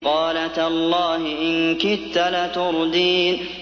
قَالَ تَاللَّهِ إِن كِدتَّ لَتُرْدِينِ